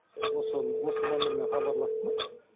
осы осы нөмірмен хабарласты ма